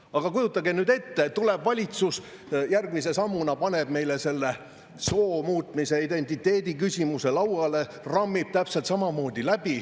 Aga kujutage nüüd ette, kui valitsus järgmise sammuna paneb meile selle soomuutmise, identiteediküsimuse lauale ja rammib täpselt samamoodi läbi.